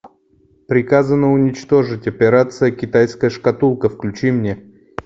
приказано уничтожить операция китайская шкатулка включи мне